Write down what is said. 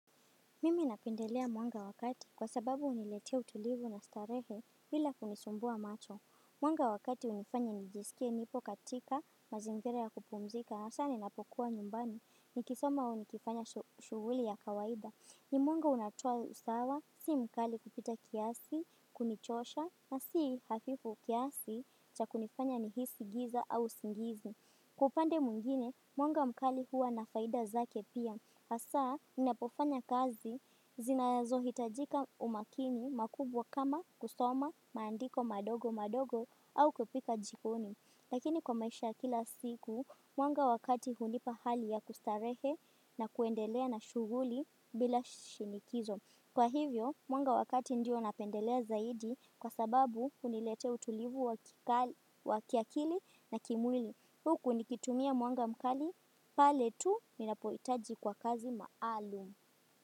Mimi napendelea mwanga wakati kwa sababu uniletia utulivu na starehe vila kunisumbua macho. Mwanga wakati unifanya nijisikia nipo katika mazingire ya kupumzika na sana inapokuwa nyumbani ni kisoma unikifanya shuvuli ya kawaida. Ni mwanga unatua usawa, si mkali kupita kiasi, kunichosha na si hafifu kiasi cha kunifanya nihisi giza au singizi. Kupande mungine, mwanga mkali hua na faida zake pia. Asa, ninapofanya kazi zinayazo hitajika umakini makubwa kama kusoma, maandiko madogo madogo au kupika jikoni. Lakini kwa maisha kila siku, mwanga wakati hunipa hali ya kustarehe na kuendelea na shuguli bila shinikizo. Kwa hivyo, mwanga wakati ndio napendelea zaidi kwa sababu hunilete utulivu wa kiakili na kimwili. Huku nikitumia muanga mkali, pale tu minapoitaji kwa kazi maalum.